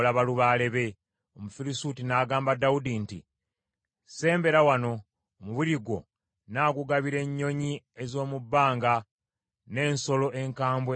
Omufirisuuti n’agamba Dawudi nti, “Sembera wano, omubiri gwo nnaagugabira ennyonyi ez’omu bbanga n’ensolo ez’omu nsiko.”